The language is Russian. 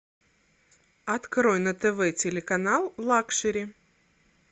открой на тв телеканал лакшери